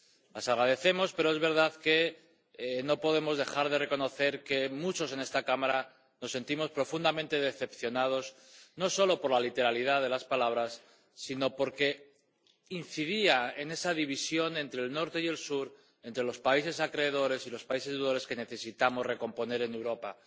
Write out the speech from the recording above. Las agradecemos, pero es verdad que no podemos dejar de reconocer que muchos en esta Cámara nos sentimos profundamente decepcionados, no solo por la literalidad de las palabras, sino porque incidía en esa división entre el norte y el sur, entre los países acreedores y los países deudores, que necesitamos recomponer en Europa.